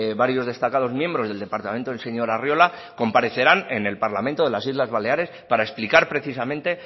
varios destacados miembros del departamento del señor arriola comparecerán en el parlamento de las islas baleares para explicar precisamente